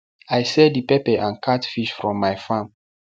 i sell the pepper and catfish from my farm